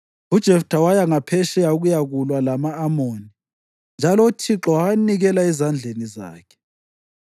UJeftha waya ngaphetsheya ukuyakulwa lama-Amoni, njalo uThixo wawanikela ezandleni zakhe.